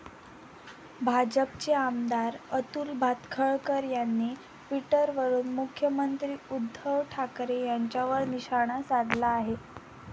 भाजपचे आमदार अतुल भातखळकर यांनी ट्विटरवरून मुख्यमंत्री उद्धव ठाकरे यांच्यावर निशाणा साधला आहे.